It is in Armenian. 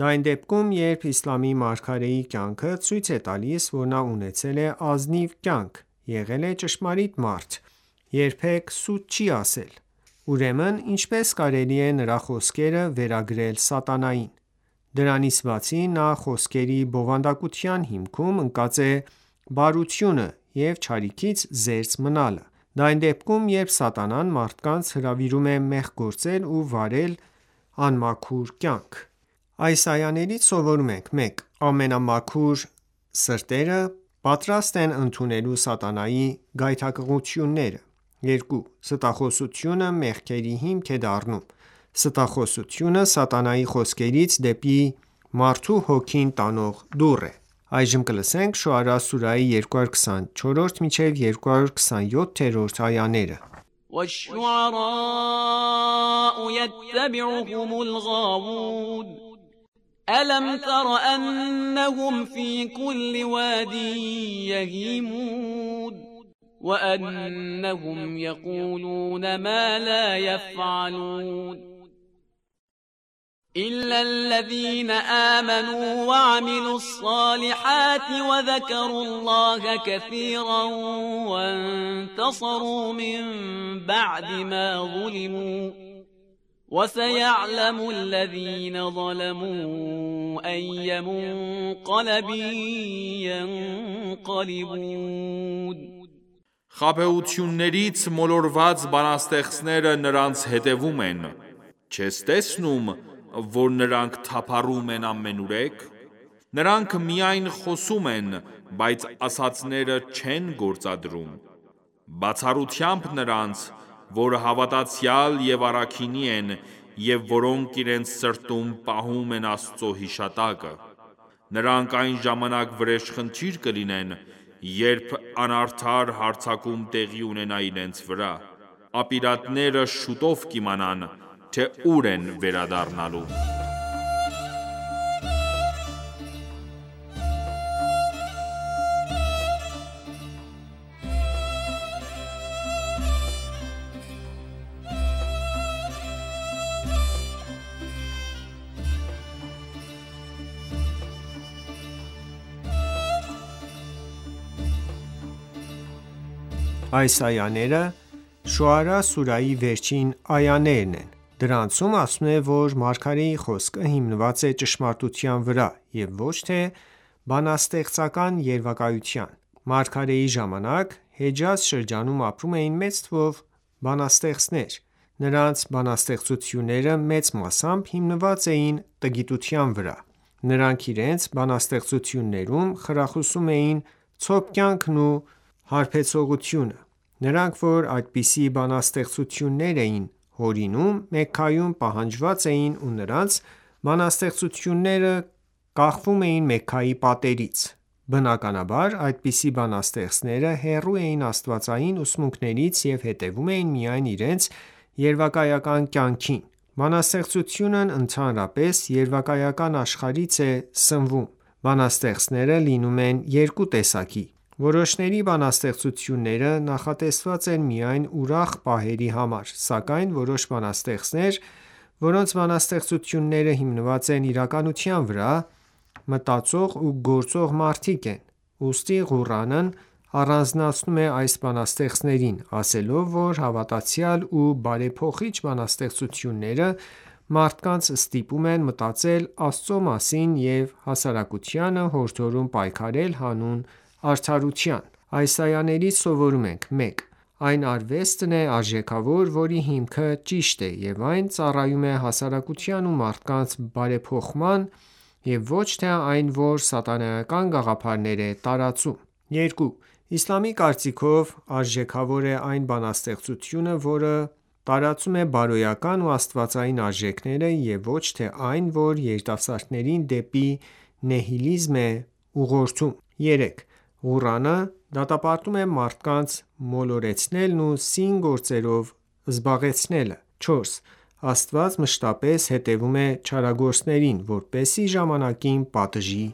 Դա այն դեպքում, երբ իսլամի մարգարեի կյանքը ցույց է տալիս, որ նա ունեցել է ազնիվ կյանք, եղել է ճշմարիտ մարդ, երբեք սուտ չի ասել: Ուրեմն ինչպե՞ս կարելի է նրա խոսքերը վերագրել սատանային: Դրանից բացի, նրա խոսքերի բովանդակության հիմքում ընկած է բարությունը և չարիքից զերծ մնալը: Դա այն դեպքում, երբ սատանան մարդկանց հրավիրում է մեղք գործել ու վարել անմաքուր կյանք: Այս այաներից սովորում ենք. 1. Անմաքուր սրտերը պատրաստ են ընդունելու սատանայի գայթակղությունները: 2. Ստախոսությունը մեղքերի հիմք է դառնում: Ստախոսությունը սատանայի խոսքերից դեպի մարդու հոգին տանող դուռ է: Շոարա սուրահի 224-227-րդ այաներ وَالشُّعَرَاءُ یَتَّبِعُهُمُ الْغَاوُونَ أَلَمْ تَرَ أَنَّهُمْ فِی کُلِّ وَادٍ یَهِیمُونَ وَأَنَّهُمْ یَقُولُونَ مَا لَا یَفْعَلُونَ Խաբեություններից մոլորված բանաստեղծները նրանց հետևում են: Չես տեսնո՞ւմ, որ նրանք թափառում են ամենուրեք: Նրանք միայն խոսում են, բայց ասածները չեն գործադրում: Բացառությամբ նրանց, որ հավատացյալ և առաքինի են և որոնք իրենց սրտում պահում են Աստծո հիշատակը:Նրանք այն ժամանակ վրեժխնդիր կլինեն, երբ անարդար հարձակում տեղի ունենա իրենց վրա: Ապիրատները շուտով կիմանան, թե ուր են վերադառնալու: Այս այաները շոարա սուրահի վերջին այաներն են: Դրանցում ասվում է, որ մարգարեի խոսքը հիմնված է ճշմարտության վրա և ոչ թե բանաստեղծական երևակայության: Մարգարեի ժամանակ, Հեջազ շրջանում ապրում էին մեծ թվով բանաստեղծներ: Նրանց բանաստեղծությունները մեծ մասամբ հիմնված էին տգիտության վրա: Նրանք իրենց բանաստեղծություններում խրախուսում էին ցոփ կյանքն ու հարբեցողությունը: Նրանք, որ այսպիսի բանաստեղծություններ էին հորինում, Մեքքայում պահանջված էին ու նրանց բանաստեղծությունները կախվում էին Մեքքայի պատերից: Բնականաբար, այսպիսի բանաստեղծները հեռու էին աստվածային ուսմունքներից և հետևում էին միայն իրենց երևակայական կյանքին: Բանաստեղծությունն ընդհանրապես երևակայական աշխարհից է սնվում: Բանաստեղծները լինում են երկու տեսակի: Որոշների բանաստեղծությունները նախատեսված են միայն ուրախ պահերի համար, սակայն որոշ բանաստեղծներ, որոնց բանաստեղծությունները հիմնված են իրականության վրա, մտածող ու գործող մարդիկ են: Ուստի Ղուրանն առանձնացնում է այս բանաստեղծներին, ասելով, որ հավատացյալ ու բարեփոխիչ բանաստեղծությունները մարդկանց ստիպում են մտածել Աստծու մասին և հասարակությանը հորդորում պայքարել հանուն արդարության: Այս այաներից սովորում ենք. 1. Այն արվեստն է արժեքավոր, որի հիմքը ճիշտ է և այն ծառայում է հասարակության ու մարդկանց բարեփոխմանը և ոչ թե այն, որ սատանայական գաղափարներ է տարածում: 2. Իսլամի կարծիքով, արժեքավոր է այն բանաստեղծությունը, որը տարածում է բարոյական ու աստվածային արժեքները և ոչ թե այն, որ երիտասարդներին դեպի նիհիլիզմ է ուղղորդում: 3. Ղուրանը դատապարտում է մարդկանց մոլորեցնելն ու սին գործերով զբաղեցնելը: 4. Աստված մշտապես հետևում է չարագործներին, որպեսզի ժամանակին պատժի